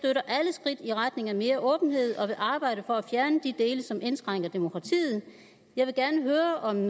skridt i retning af mere åbenhed og vil arbejde for at fjerne de dele som indskrænker demokratiet jeg vil gerne høre om